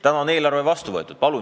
Nüüd on eelarve vastu võetud.